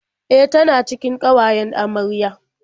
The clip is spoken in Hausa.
E, tana cikin ƙawayen amarya.